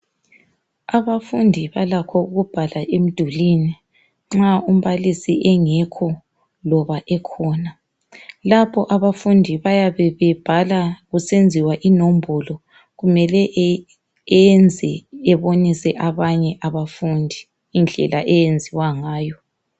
Abafundi balakho ukubhala emdulini nxa umbalisi engekho loba ekhona, lapho abafundi bayabe bebhala kusenziwa inombolo kumele eyenze ebonise abanye abafundi indlela eyenziwa ngayo.